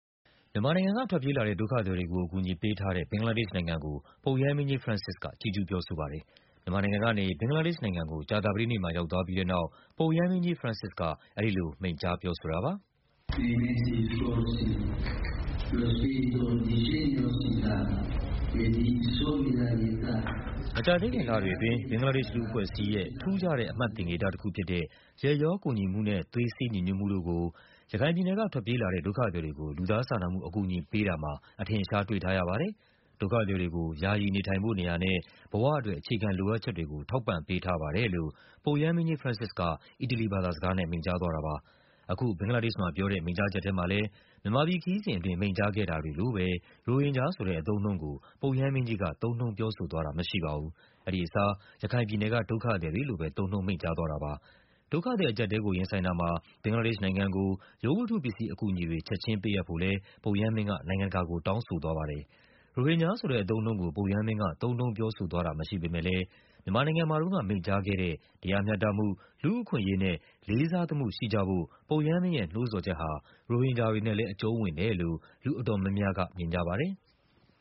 မြန်မာနိုင်ငံက ထွက်ပြေးလာတဲ့ ဒုက္ခသည်တွေကို အကူအညီပေးထားတဲ့ ဘင်္ဂလားဒေ့ရှ်နိုင်ငံကို ပုပ်ရဟန်းမင်းကြီး ဖရန့်စစ်စ်က ချီးကျူးပြောဆိုပါတယ်။ မြန်မာနိုင်ငံကနေ ဘင်္ဂလားဒေ့ရှ်နိုင်ငံကို ကြာသပတေးနေ့မှာ ရောက်သွားပြီးတဲ့နောက် ပုပ်ရဟန်းမင်းကြီး က အဲဒီလို မိန့်ကြားပြောဆိုတာပါ။ “မကြာသေးခင်လတွေအတွင်း ဘင်္ဂလားဒေ့ရှ် လူ့အဖွဲ့အစည်းရဲ့ ထူးခြားတဲ့ အမှတ်သင်္ကေတတခုဖြစ်တဲ့ ရက်ရော ကူညီမှုနဲ့ သွေးစည်းညီညွတ်မှုတို့ကို ရခိုင်ပြည်နယ်က ထွက်ပြေးလာတဲ့ ဒုက္ခသည်တွေကို လူသားစာနာမှုအကူအညီ ပေးတာမှာ အထင်အရှား တွေ့ထားရပါတယ်။ ဒုက္ခသည်တွေကို ယာယီ နေထိုင်ဖို့နေရာနဲ့ ဘဝအတွက် အခြေခံလိုအပ်ချက်တွေကို ထောက်ပံ့ပေးထားပါတယ်။” လို့ ပုပ်ရဟန်းမင်းကြီး ဖရန့်စစ်စ်က မိန့်သွားပါတယ်။ အခု ဘင်္ဂလားဒေ့ရှ်မှာပြောတဲ့ မိန့်ကြားချက်ထဲမှာလဲ မြန်မာပြည်ခရီးစဉ်အတွင်း မိန့်ကြားခဲ့တာတွေလိုပဲ ရိုဟင်ဂျာဆိုတဲ့ အသုံး အနှုန်းကို ပုပ်ရဟန်းမင်းကြီးက သုံးနှုန်း ပြောဆိုသွားတာမရှိပါဘူး။ အဲဒီအစား ရခိုင်ပြည်နယ်က ဒုက္ခသည်တွေလို့ပဲ သုံးနှုန်း မိန့်ကြားသွားတာပါ။ ဒုက္ခသည်အကျပ်အတည်းကို ရင်ဆိုင်တာမှာ ဘင်္ဂလားဒေ့ရှ်နိုင်ငံကို ရုပ်ဝတ္ထုပစ္စည်းအကူအညီတွေ ချက်ခြင်း ပေးအပ်ဖို့လဲ ပုပ်ရဟန်းမင်းက နိုင်ငံတကာကို တောင်းဆိုသွားပါတယ်။ ရိုဟင်ဂျာဆိုတဲ့ အသုံးအနှုန်းကို ပုပ်ရဟန်းမင်းက သုံးနှုန်းပြောဆိုသွားတာ မရှိပေမဲ့လဲ မြန်မာနိုင်ငံမှာတုန်းက မိန့်ကြားခဲ့တဲ့ တရား မျှတမှု၊ လူ့အခွင့်အရေးနဲ့ လေးစားသမှုရှိကြဖို့ ပုပ်ရဟန်းမင်းရဲ့ နှိုးဆော်ချက်ဟာ ရိုဟင်ဂျာတွေနဲ့လဲ အကျုံးဝင်တယ်လို့ မြင်ကြပါတယ်။